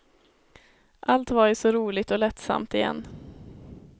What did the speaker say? Allt var ju så roligt och lättsamt igen.